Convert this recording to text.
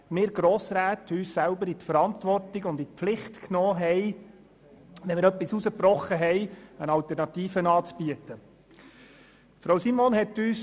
Wir Grossräte nahmen nämlich uns selber in die Pflicht und boten eine Alternative an, wenn wir etwas herausbrechen wollten.